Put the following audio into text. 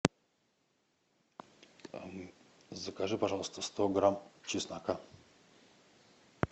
закажи пожалуйста сто грамм чеснока